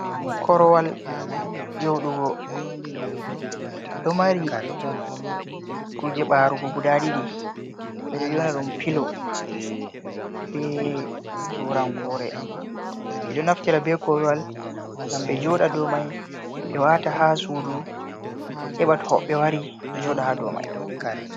Korowal joɗugo ɗo mari kuje ɓarugo guda ɗiɗi ɓe ɗo yona ɗum pilo be turankore, ɓe ɗo naftira be korwal ngam ɓe joɗa do mai, be wata ha sudu, heɓa to hoɓɓe obe wari joɗa ha dou mai.